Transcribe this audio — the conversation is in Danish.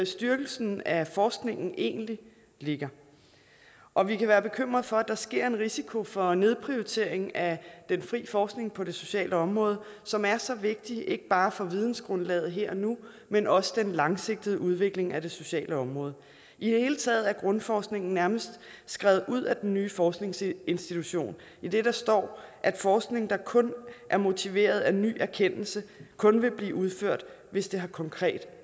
styrkelsen af forskningen egentlig ligger og vi kan være bekymrede for at der sker en risiko for en nedprioritering af den frie forskning på det sociale område som er så vigtig ikke bare for vidensgrundlaget her og nu men også for den langsigtede udvikling af det sociale område i det hele taget er grundforskningen nærmest skrevet ud af den nye forskningsinstitution idet der står at forskning der kun er motiveret af ny erkendelse kun vil blive udført hvis det har en konkret